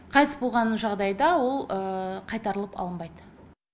қайтыс болған жағдайда ол қайтарылып алынбайды